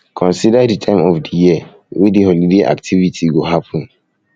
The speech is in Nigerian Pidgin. consider di time of di year wey di holiday activity go happen